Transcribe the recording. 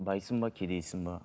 байсың ба кедейсің бе